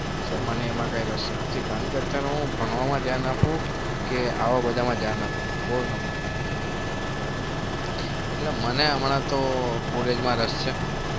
sir મને એમાં કોઈ રસ નથી કારણકે અત્યારે હું ભણવામાં ધ્યાન આપુ કે આવા બધામાં ધ્યાન આપુ કોઈ એટલે મને હમણા તો college માં રસ છે.